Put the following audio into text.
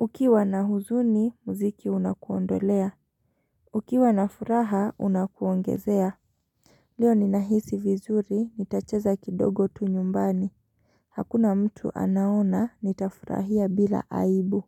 Ukiwa na huzuni, muziki unakuondolea. Ukiwa na furaha, unakuongezea. Lio ni nahisi vizuri, nitacheza kidogo tu nyumbani. Hakuna mtu anaona, nitafurahia bila aibu.